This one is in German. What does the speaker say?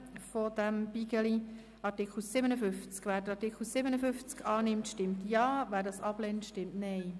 Wer den Artikel 56 annimmt, stimmt Ja, wer ihn ablehnt, stimmt Nein.